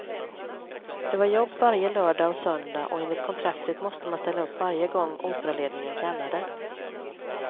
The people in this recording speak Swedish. Det var jobb varje lördag och söndag och enligt kontraktet måste man ställa upp varje gång operaledningen kallade.